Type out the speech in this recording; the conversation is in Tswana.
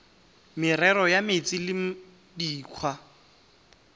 merero ya metsi le dikgwa